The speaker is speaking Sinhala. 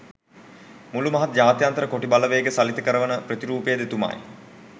මුළු මහත් ජාත්‍යන්තර කොටි බලවේග සලිත කරවන ප්‍රතිරූපයද එතුමායි.